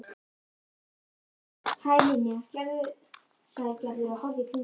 Hæ, Linja sagði Gerður og horfði í kringum sig.